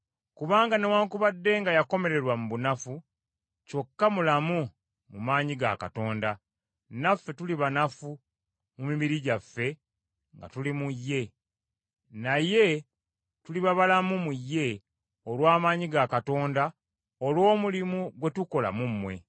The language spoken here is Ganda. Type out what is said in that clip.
Kubanga newaakubadde nga yakomererwa mu bunafu, kyokka mulamu mu maanyi ga Katonda. Naffe tuli banafu mu mibiri gyaffe nga tuli mu ye, naye tuliba balamu mu ye olw’amaanyi ga Katonda olw’omulimu gwe tukola mu mmwe.